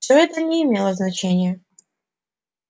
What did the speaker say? все это не имело значения